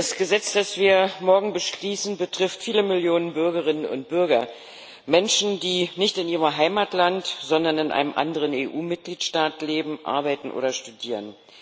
Das Gesetz, das wir morgen beschließen, betrifft viele Millionen Bürgerinnen und Bürger, Menschen, die nicht in ihrem Heimatland, sondern in einem anderen EU Mitgliedstaat leben, arbeiten oder studieren.